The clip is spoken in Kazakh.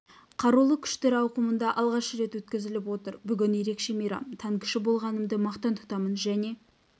қарулы күштер ауқымында алғаш рет өткізіліп отыр бүгін ерекше мейрам танкіші болғанымды мақтан тұтамын және